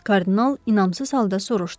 Kardinal inamsız halda soruşdu.